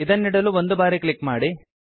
ಇದನ್ನಿಡಲು ಒಂದು ಬಾರಿ ಕ್ಲಿಕ್ ಮಾಡಿ